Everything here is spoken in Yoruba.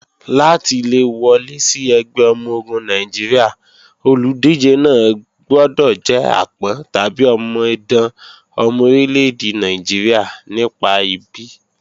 Láti le wọlé sí ẹgbẹ́ ọmọ-ogun Nàìjíríà, olùdíje náà gbọdọ̀ jẹ́ àpọ́n/omidan ọmọ orílẹ́-èdè Nàìjíríà nípa ìbí.